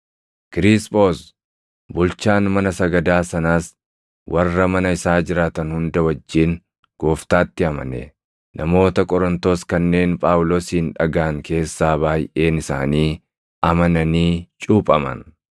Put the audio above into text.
Kiriisphoos bulchaan mana sagadaa sanaas warra mana isaa jiraatan hunda wajjin Gooftaatti amane; namoota Qorontos kanneen Phaawulosin dhagaʼan keessaa baayʼeen isaanii amananii cuuphaman.